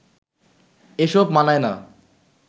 এসব মানায় না